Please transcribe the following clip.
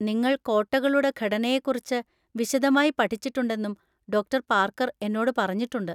നിങ്ങൾ കോട്ടകളുടെ ഘടനയെക്കുറിച്ച് വിശദമായി പഠിച്ചിട്ടുണ്ടെന്നും ഡോക്ടർ ​​പാർക്കർ എന്നോട് പറഞ്ഞിട്ടുണ്ട്.